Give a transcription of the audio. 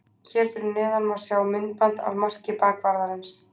Hér fyrir neðan má sjá myndband af marki bakvarðarins.